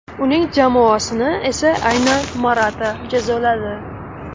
Uning jamoasini esa aynan Morata jazoladi.